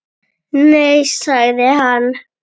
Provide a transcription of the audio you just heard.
Nei sagði hann.